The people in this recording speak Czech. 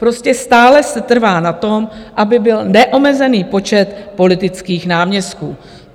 Prostě stále se trvá na tom, aby byl neomezený počet politických náměstků.